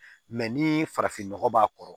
ni farafin nɔgɔ b'a kɔrɔ